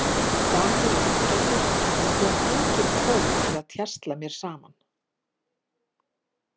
Dagur er ágætur en hann fékk engin tól til að tjasla mér saman.